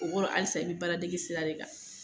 O koro halisa i bi baaradege sira de kan